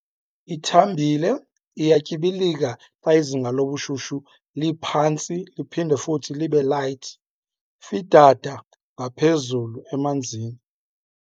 Ithambile, iyanyibilika xa izinga lobushushu liphantsi liphinde futhi libe-light, fidada ngaphezulu e-manzini.